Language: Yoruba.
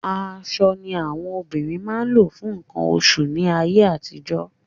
Aṣọ ni àwọn obìnrin máa ń lò fún nǹkan oṣù láyé àtijọ́.